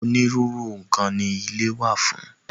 Onírúurú nǹkan ni ilé wà fún.